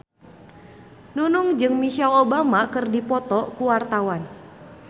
Nunung jeung Michelle Obama keur dipoto ku wartawan